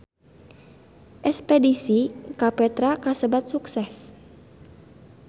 Espedisi ka Petra kasebat sukses